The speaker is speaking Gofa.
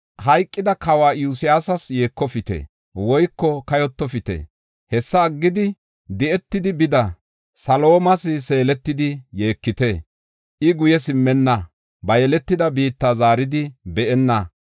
Hayqida kawa Iyosiyasas yeekofite woyko kayotofite. Hessa aggidi, di7etidi bida Saalomas seeletidi yeekite. I guye simmenna; ba yeletida biitta zaaridi be7enna.